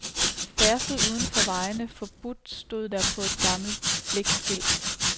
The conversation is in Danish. Færdsel udenfor vejene forbudt stod der på et gammelt blikskilt.